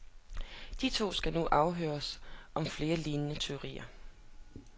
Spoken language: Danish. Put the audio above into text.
De to skal nu afhøres om flere lignende tyverier.